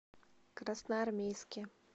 красноармейске